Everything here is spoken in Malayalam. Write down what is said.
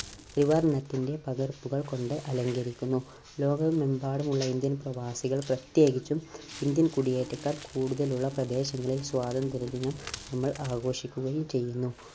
ത്രിവർണത്തിന്റെ പകർപ്പുകൾ കൊണ്ട് അലങ്കരിക്കുന്നു. ലോകമെമ്പാടുമുള്ള ഇന്ത്യൻ പ്രവാസികൾ പ്രത്യേകിച്ചും ഇന്ത്യൻ കുടിയേറ്റക്കാർ കൂടുതലുള്ള പ്രദേശങ്ങളിൽ സ്വാതന്ത്ര്യ ദിനം നമ്മൾ ആഘോഷിക്കുകയും ചെയ്യുന്നു.